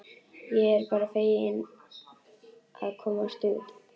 Ég er bara fegin að komast út!